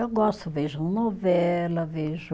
Eu gosto, vejo novela, vejo